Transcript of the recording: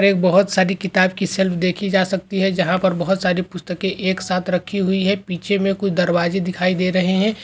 और एक बहुत सारी किताब की सेल देखी जा सकती है जहां पर बहुत सारी पुस्तकें एक साथ रखी हुई है पीछे में कुछ दरवाजे दिखाई दे रहे है।